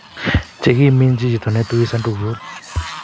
chekiminjii chito netui sandakuut